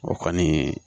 O kɔni